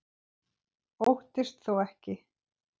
Óttist þó ekki.